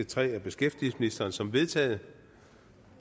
tre af beskæftigelsesministeren som vedtaget